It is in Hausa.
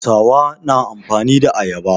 Hausawa na amfani da ayaba.